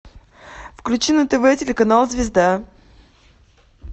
включи на тв телеканал звезда